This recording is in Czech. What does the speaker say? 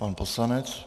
Pan poslanec.